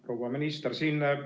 Proua minister!